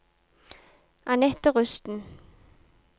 Anette Rusten